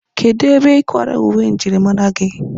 Kedụ ebe ị kwara uwe njirimara gị?